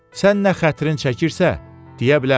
Sən nə xətrin çəkirsə, deyə bilərsən.